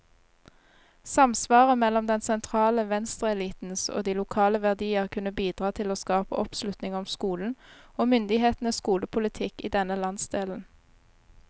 Samsvaret mellom den sentrale venstreelitens og de lokale verdier kunne bidra til å skape oppslutning om skolen, og myndighetenes skolepolitikk i denne landsdelen.